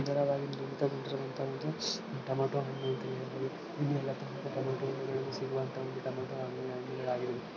ಈ ಚಿತ್ರದಲ್ಲಿ ನೋಡುವಂತ ಒಂದು ಟೊಮೊಟೊ ಹಣ್ಣು ಇಲ್ಲಿ ಟಮೋಟ ಸಿಡುವಂತ ಒಂದು ಟೊಮೊಟೊ ಹಣ್ಣು ಆಗಿದೆ.